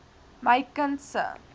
my kind se